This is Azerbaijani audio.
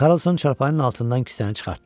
Karlson çarpayının altından kisəni çıxartdı.